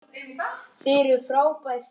Þið eruð frábær þjóð!